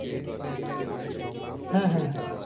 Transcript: হ্যা হ্যা হ্যা